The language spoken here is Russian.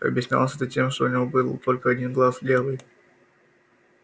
объяснялось это тем что у него был только один глаз левый